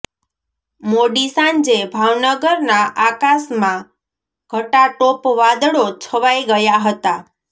મોડી સાંજે ભાવનગરના આકાશમાં ઘટાટોપ વાદળો છવાઈ ગયા હતા